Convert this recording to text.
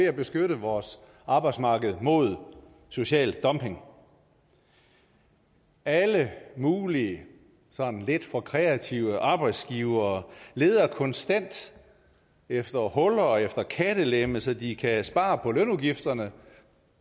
at beskytte vores arbejdsmarked mod social dumping alle mulige sådan lidt for kreative arbejdsgivere leder konstant efter huller efter kattelemme så de kan spare på lønudgifterne